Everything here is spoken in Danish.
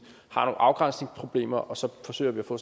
afgrænsningsproblemer og så forsøger vi at få